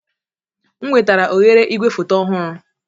M wetara oghere igwefoto ọhụrụ